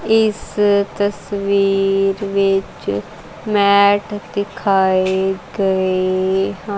ਇਸ ਤਸਵੀਰ ਵਿੱਚ ਮੈਟ ਦਿਖਾਏ ਗਏ--